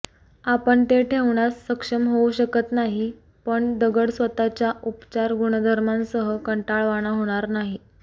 आपण ते ठेवण्यास सक्षम होऊ शकत नाही पण दगड स्वतःच्या उपचार गुणधर्मांसह कंटाळवाणा होणार नाही